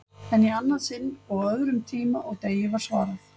En í annað sinn og á öðrum tíma og degi var svarað.